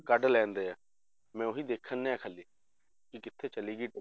ਕੱਢ ਲੈਂਦੇ ਆ ਮੈਂ ਉਹੀ ਦੇਖਣ ਡਿਆ ਖਾਲੀ ਕਿ ਕਿੱਥੇ ਚਲੇ ਗਈ